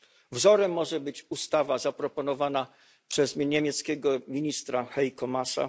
Wzorem może być ustawa zaproponowana przez niemieckiego ministra Heiko Maasa.